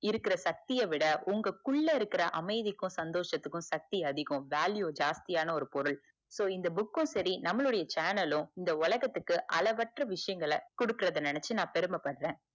இருக்குற சக்திய விட உங்க குள்ள இருக்குற அமைதிக்கும் சந்தோசத்துக்கும் சக்தி அதிகம் value ஜாஸ்த்தி ஆன ஒரு பொருள் so இந்த book உம் செரி நம்மலுடைய channel உம் இந்த உலகத்துக்கு அளவற்ற விசயங்கள குடுக்குறத நெனச்சு நான் பெருமை படுறேன்